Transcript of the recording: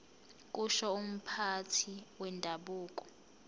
kusho umphathi wendabuko